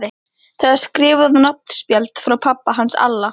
Það er skrifað á nafnspjald frá pabba hans Alla.